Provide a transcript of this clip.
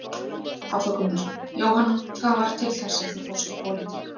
Hafþór Gunnarsson: Jóhanna, hvað varð til þess að þú fórst í pólitík?